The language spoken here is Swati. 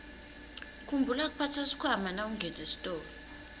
khumbula kuphatsa sikhwama nawungena esitolo